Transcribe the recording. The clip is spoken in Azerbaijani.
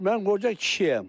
Mən qoca kişiyəm.